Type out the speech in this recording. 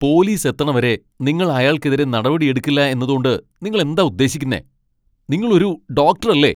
Police എത്തണവരെ നിങ്ങൾ അയാൾക്കെതിരെ നടപടിയെടുക്കില്ല എന്നതോണ്ട് നിങ്ങൾ എന്താ ഉദ്ദേശിക്കുന്നെ? നിങ്ങൾ ഒരു ഡോക്ടറല്ലേ?